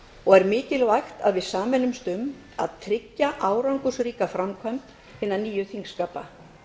og er mikilvægt að við sameinumst um að tryggja árangursríka framkvæmd hinna nýju þingskapa